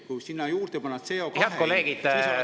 Kui sinna juurde panna CO2 hind, siis oleks …